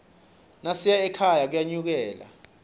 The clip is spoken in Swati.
nasiya ekhaya kuyenyukela